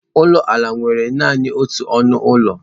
Ụlọ ala nwere naanị otu ọnụ ụlọ.